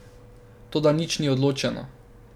Toda nič ni odločeno.